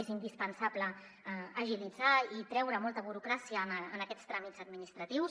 és indispensable agilitzar i treure molta burocràcia en aquests tràmits administratius